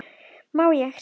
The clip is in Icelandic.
Má ég sjá?